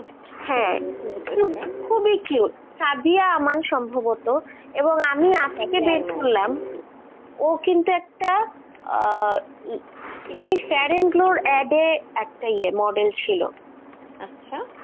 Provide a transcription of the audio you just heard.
হ্যাঁ খুবই cute, সাবিয়া আমান সম্ভবত এবং আমি আজকে বের করলামএবং আমি আজকে দেখলাম ও কিন্তু একটা আহ কি জানি fair and glow এর add এ একটা model ছিল.